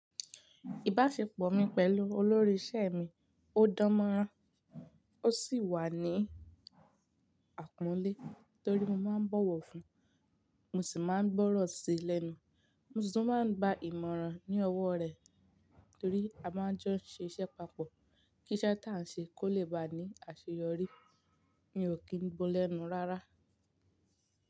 Ìbáṣepọ̀ mi pẹ̀lú olórí iṣẹ́ mi, ó dánmọ́rán ó sì wà ní àkúnlé torí mo máa ń bọ̀wọ̀ fún un, mo sì máa ń gbọ́rọ̀ sí lẹ́nu, mo sì máa ń gba ìmọ̀ràn ní ọwọ́ rẹ̀ torí a máa ń jọ ṣiṣẹ́ papọ̀ kí iṣẹ́ tí à ń ṣe kó lè ba ní àṣeyọrí, mi ò kí ń bo lẹ́nu rárá.